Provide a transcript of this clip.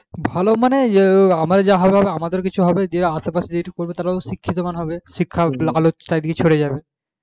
ভালো মানে যা আমার যা হবার আমাদের কিছু হবে যে আসে পাশে যেটুকু করবে তারাও শিক্ষিত হবে শিক্ষার আলো চারিদিকে ছড়িয়ে যাবে